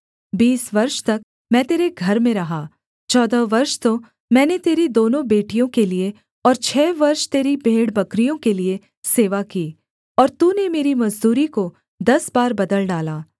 बीस वर्ष तक मैं तेरे घर में रहा चौदह वर्ष तो मैंने तेरी दोनों बेटियों के लिये और छः वर्ष तेरी भेड़बकरियों के लिये सेवा की और तूने मेरी मजदूरी को दस बार बदल डाला